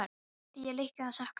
Nú græt ég líka og sakna þín.